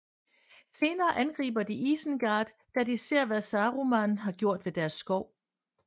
Senere angriber de Isengard da de ser hvad Saruman har gjort ved deres skov